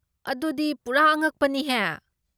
ꯑꯗꯨꯗꯤ ꯄꯨꯔꯥ ꯑꯉꯛꯄꯅꯤꯍꯦ꯫